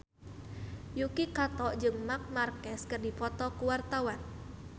Yuki Kato jeung Marc Marquez keur dipoto ku wartawan